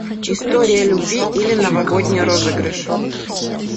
история любви или новогодний розыгрыш